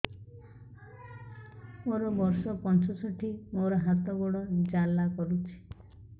ମୋର ବର୍ଷ ପଞ୍ଚଷଠି ମୋର ହାତ ଗୋଡ଼ ଜାଲା କରୁଛି